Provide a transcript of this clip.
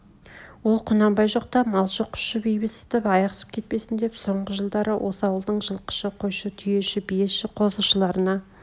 ол құнанбай жоқта малшы құсшы бейбітсіп аяқсып кетпесн деп соңғы жылдар осы ауылдың жылқышы қойшы түйеші биеші қозышыларына